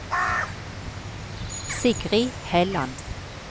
Sigrid Helland